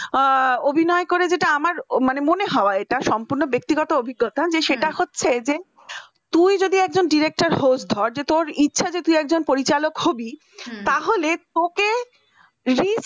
অভিনয় করে যেটা আমার মনে হয় সম্পূর্ণ ব্যক্তিগত অভিজ্ঞতা যে সেটা হচ্ছে যে তুই যদি একজন director হোজ ধর তোর ইচ্ছা যে তুই একজন পরিচালক হবি তাহলে তোকে রি